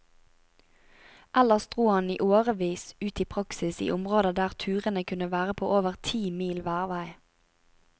Ellers dro han i årevis ut i praksis i områder der turene kunne være på over ti mil hver vei.